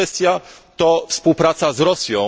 Druga kwestia to współpraca z Rosją.